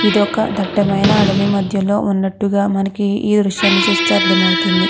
ఇదొక దట్టమైన అడవి మధ్యలో ఉన్నటుగ మనకి ఈ దృశ్యాన్ని చుస్తే మనకి అర్ధమవుతుంది.